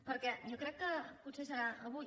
perquè jo crec que potser serà avui